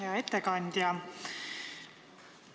Hea ettekandja!